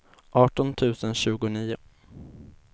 arton tusen tjugonio